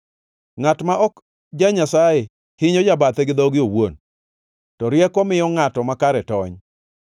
Ngʼat ma ok ja-Nyasaye hinyo jabathe gi dhoge owuon, to rieko miyo ngʼat makare tony.